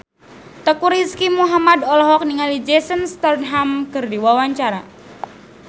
Teuku Rizky Muhammad olohok ningali Jason Statham keur diwawancara